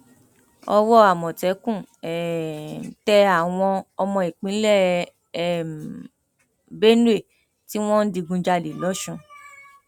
owó àmọtẹkùn um tẹ àwọn àwọn ọmọ ìpínlẹ um benue tí wọn ń digunjalè lọsùn